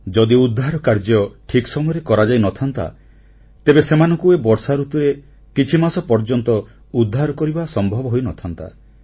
ଯଦି ଉଦ୍ଧାର କାର୍ଯ୍ୟ ଠିକ୍ ସମୟରେ କରାଯାଇନଥାନ୍ତା ତେବେ ସେମାନଙ୍କୁ ଏ ବର୍ଷାଋତୁରେ କିଛିମାସ ପର୍ଯ୍ୟନ୍ତ ଉଦ୍ଧାର କରିବା ସମ୍ଭବ ହୋଇନଥାନ୍ତା